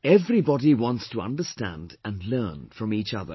Everybody wants to understand and learn from each other